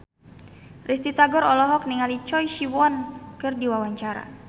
Risty Tagor olohok ningali Choi Siwon keur diwawancara